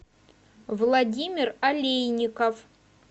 владимир олейников